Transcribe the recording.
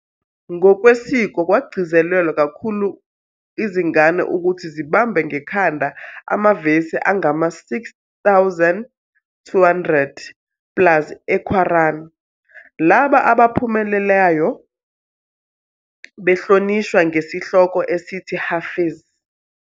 Ngokwesiko kwagcizelelwa kakhulu izingane ukuthi zibambe ngekhanda amavesi angama-6200 plus eQuran, labo abaphumelelayo behlonishwa ngesihloko esithi Hafiz."